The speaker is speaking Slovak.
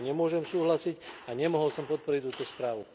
S týmto nemôžem súhlasiť a nemohol som podporiť túto správu.